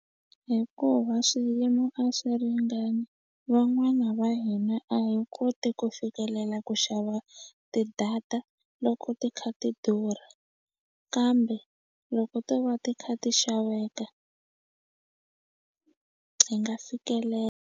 Hikuva swiyimo a swi ringani van'wana va hina a hi koti ku fikelela ku xava ti-data loko ti kha ti durha kambe loko to va ti kha ti xaveka hi nga fikelela.